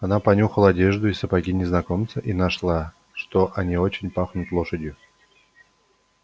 она понюхала одежду и сапоги незнакомца и нашла что они очень пахнут лошадью